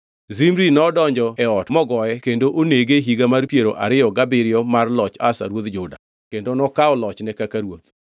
Zimri nodonjo e ot mogoye kendo onege e higa mar piero ariyo gabiriyo mar loch Asa ruodh Juda, kendo nokawo lochne kaka ruoth.